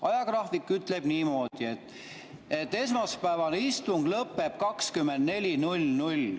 Ajagraafik ütleb niimoodi, et esmaspäevane istung lõpeb 24.00.